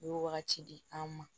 U ye wagati di an ma